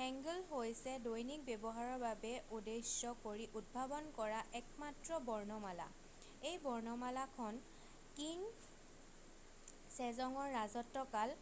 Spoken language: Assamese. "hangeul হৈছে দৈনিক ব্যৱহাৰৰ বাবে উদ্দেশ্য কৰি উদ্ভাৱন কৰা একমাত্ৰ বৰ্ণমালা। এই বৰ্ণমালাখন কিং ছেজ'ঙৰ ৰাজত্বকাল